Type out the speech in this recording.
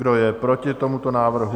Kdo je proti tomuto návrhu?